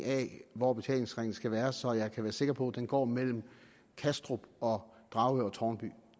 af hvor betalingsringen skal være så jeg kan være sikker på at den går mellem kastrup og dragør og tårnby